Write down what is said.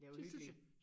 Det synes jeg